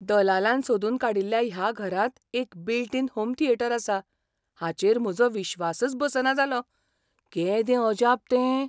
दलालान सोदून काडिल्ल्या ह्या घरांत एक बील्ट इन होम थियेटर आसा हाचेर म्हजो विश्वासच बसना जालो. केदें अजाप तें!